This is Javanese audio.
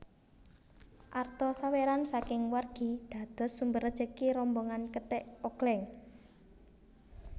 Arta sawéran saking wargi dados sumber rejeki rombongan kethèk ogléng